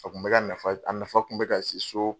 A kun bɛ ka nafa a nafa kun bɛ ka se so.